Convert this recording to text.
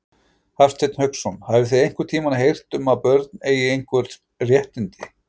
Hafsteinn Hauksson: Hafið þið einhvern tímann heyrt um að börn eigi einhver réttindi?